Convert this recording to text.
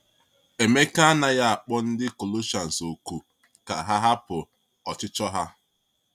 Emeka anaghị akpọ ndị Kọlọsians òkù ka ha ha hapụ ọchịchọ ha.